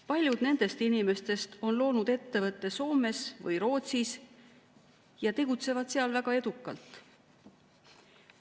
Paljud nendest inimestest on loonud ettevõtte Soomes või Rootsis ja tegutsevad seal väga edukalt.